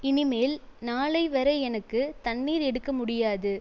இனிமேல் நாளை வரை எனக்கு தண்ணீர் எடுக்க முடியாது